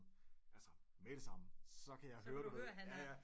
Altså med det samme så kan jeg høre